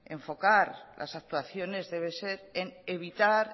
debemos enfocar las actuaciones debe ser en evitar